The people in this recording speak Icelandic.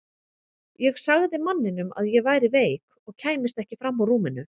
Ég sagði manninum að ég væri veik og kæmist ekki fram úr rúminu.